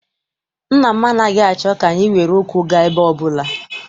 Nna m anaghị achọ ka anyị were ụkwụ gaa ebe ọbụla.